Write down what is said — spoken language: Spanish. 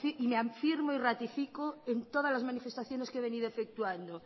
y me afirmo y ratifico en todas las manifestaciones que he venido efectuando